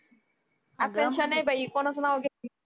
अग आकांक्षा नाय बाई कोणाचं नाव घेती